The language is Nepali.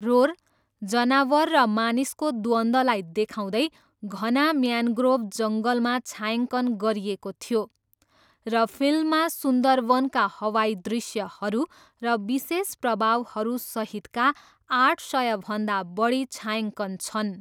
रोर, जनावर र मानिसको द्वन्द्वलाई देखाउँदै घना म्यानग्रोभ जङ्गलमा छायाङ्कन गरिएको थियो, र फिल्ममा सुन्दरवनका हवाई दृश्यहरू र विशेष प्रभावहरूसहितका आठ सयभन्दा बढी छायाङ्कन छन्।